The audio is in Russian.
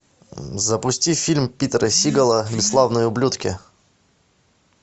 запусти фильм питера сигала бесславные ублюдки